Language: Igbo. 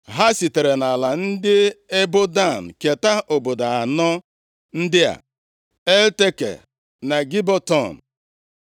Ha sitere nʼala ndị ebo Dan keta obodo anọ ndị a: Elteke na Gibeton,